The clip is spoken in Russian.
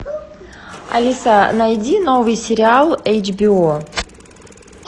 алиса найди новый сериал эйч би о